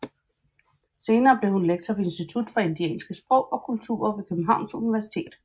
Senere blev hun lektor ved institut for Indianske Sprog og Kulturer ved Københavns Universitet